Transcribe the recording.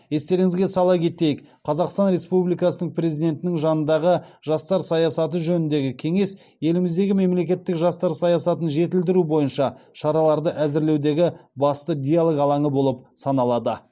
естеріңізге сала кетейік қазақстан республикасының президентінің жанындағы жастар саясаты жөніндегі кеңес еліміздегі мемлекеттік жастар саясатын жетілдіру бойынша шараларды әзірлеудегі басты диалыг алаңы болып саналады